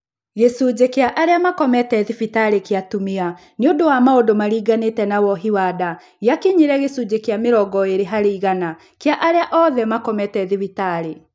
Gĩcunjĩ kĩa arĩa makomete thibitarĩ kĩarĩ atumia nĩũndũ wa maũndũ marĩnganĩte na wohi wa nda kĩrĩa gĩakinyirie gĩcunjĩ kĩa mĩrongo ĩĩrĩ harĩ igana kĩa arĩa othe makomete thibitarĩ